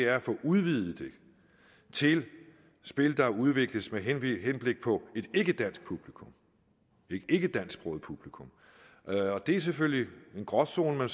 at få udvidet det til spil der udvikles med henblik på et ikkedansk publikum et ikkedansksproget publikum det er selvfølgelig en gråzone